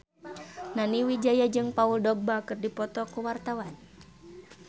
Nani Wijaya jeung Paul Dogba keur dipoto ku wartawan